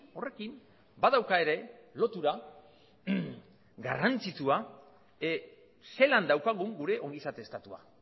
horrekin badauka ere lotura garrantzitsua zelan daukagun gure ongizate estatua